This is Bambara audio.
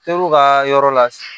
Teriw ka yɔrɔ la